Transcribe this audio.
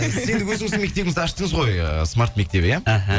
сіз өзіңіздің мектебіңізді аштыңыз ғой ы смарт мектебі иә іхі